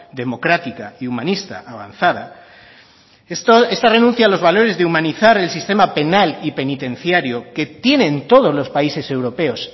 democrática y humanista avanzada esta renuncia a los valores de humanizar el sistema penal y penitenciario que tienen todos los países europeos